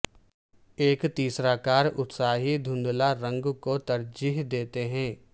ایک تیسرا کار اتساہی دھندلا رنگ کو ترجیح دیتے ہیں